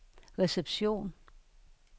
reception